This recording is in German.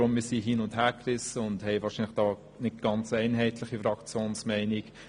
Wir sind hin- und hergerissen und kommen wahrscheinlich nicht zu einer ganz einheitlichen Fraktionsmeinung.